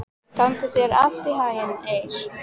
Gangi þér allt í haginn, Eir.